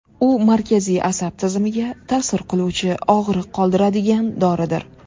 U markaziy asab tizimiga ta’sir qiluvchi og‘riq qoldiradigan doridir.